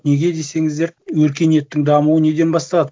неге десеңіздер өркениеттің дамуы неден басталады